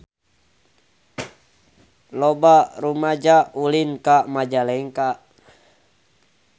Loba rumaja ulin ka Majalengka